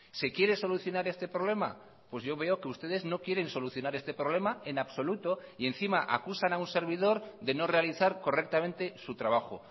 se quiere solucionar este problema pues yo veo que ustedes no quieren solucionar este problema en absoluto y encima acusan a un servidor de no realizar correctamente su trabajo